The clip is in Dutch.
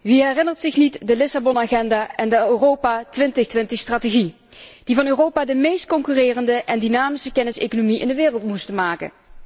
Wie herinnert zich niet de Agenda van Lissabon en de Europa 2020 strategie, die van Europa de meest concurrerende en dynamische kenniseconomie in de wereld moesten maken?